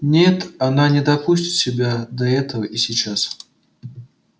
нет она не допустит себя до этого и сейчас